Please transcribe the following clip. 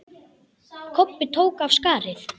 Kobbi tók af skarið.